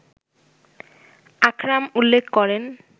আকরাম উল্লেখ করেন